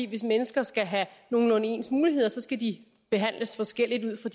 hvis mennesker skal have nogenlunde ens muligheder skal de behandles forskelligt ud fra